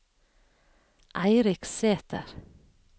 Eirik Sæter